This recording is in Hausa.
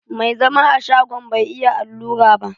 Mai zama a shagon bai iya allura ba.